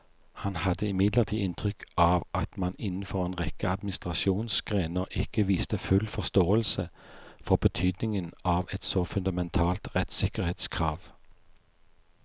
Han hadde imidlertid inntrykk av at man innenfor en rekke administrasjonsgrener ikke viste full forståelse for betydningen av et så fundamentalt rettssikkerhetskrav.